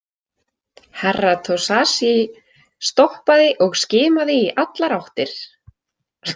Herra Toshazi stoppaði og skimaði í allar áttir.